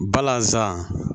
Balazan